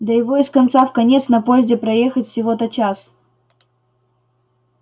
да его из конца в конец на поезде проехать всего-то час